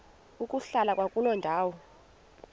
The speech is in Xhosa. ukuhlala kwakuloo ndawo